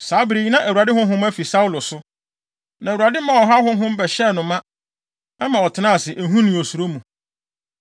Saa bere yi na Awurade honhom afi Saulo so. Na Awurade maa ɔhaw honhom bɛhyɛɛ no ma. Ɛma ɔtenaa ase ehu ne osuro mu.